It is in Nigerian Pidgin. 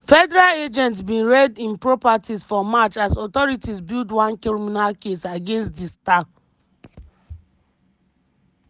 federal agents bin raid im properties for march as authorities build one criminal case against di star.